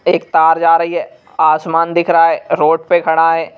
एक तार जा रही है आसमान दिख रहा है रोड प खड़ा है।